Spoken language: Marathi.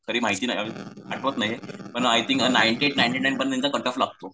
तरी माहिती नाही आठवत नाही पण I think ninety eight ninety nine वर त्यांचा कटऑफ लागतो.